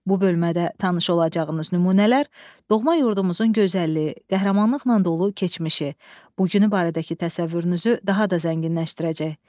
Bu bölmədə tanış olacağınız nümunələr doğma yurdumuzun gözəlliyi, qəhrəmanlıqla dolu keçmişi, bu günü barədəki təsəvvürünüzü daha da zənginləşdirəcək.